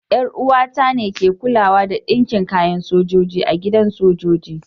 Yar uwa ta ne ke kulawa da dinkin kayan sojoji a gidan sojoji.